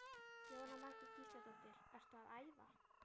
Jóhanna Margrét Gísladóttir: Ertu að æfa?